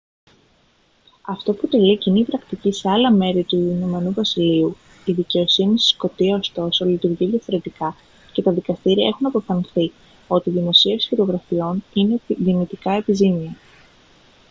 αυτό αποτελεί κοινή πρακτική σε άλλα μέρη του ην βασιλείου η δικαιοσύνη στη σκωτία ωστόσο λειτουργεί διαφορετικά και τα δικαστήρια έχουν αποφανθεί ότι η δημοσίευση φωτογραφιών είναι δυνητικά επιζήμια